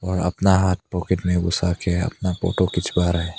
अपना हाथ पॉकेट में घुसा के अपना फोटो खिंचवा रहा है।